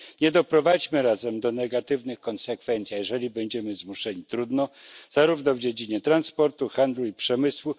Nie doprowadźmy zarazem do negatywnych konsekwencji, a jeżeli będziemy zmuszeni trudno, zarówno w dziedzinie transportu, handlu i przemysłu.